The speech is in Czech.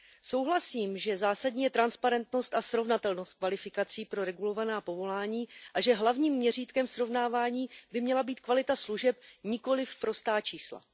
Souhlasím, že zásadní je transparentnost a srovnatelnost kvalifikací pro regulovaná povolání a že hlavním měřítkem srovnávání by měla být kvalita služeb, nikoliv prostá čísla.